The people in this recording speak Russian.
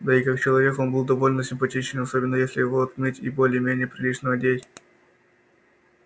да и как человек он был довольно симпатичен особенно если его отмыть и более-менее прилично одеть